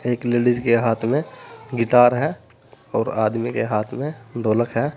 एक लेडीज के हाथ में गिटार है और आदमी के हाथ में ढोलक है।